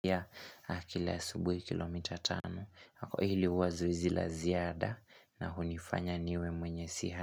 Yeah, na kila asubuhi kilomita tano, hili huwa zoezi la ziada na hunifanya niwe mwenye siha.